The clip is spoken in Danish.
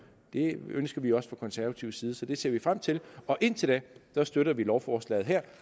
det ønsker vi også fra konservativ side så det ser vi frem til og indtil da støtter vi lovforslaget her